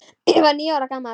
Ég var níu ára gamall.